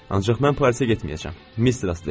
Ancaq mən Parisə getməyəcəm, Mister Astley.